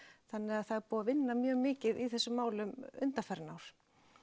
þannig það er búið að vinna mjög mikið í þessum málum undanfarin ár